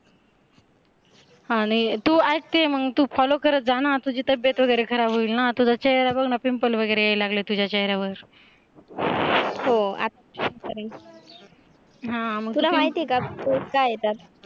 हा नाही तू ऐकते मग तू FOLLOW करत जा ना तुझी तब्येत वगैरे खराब होईल ना तुझं चेहरा बघ ना PIMPLE वगैरे लागले तुझ्या चेहऱ्यावर, हो हा तुला माहिती आहे का PORES का येतात?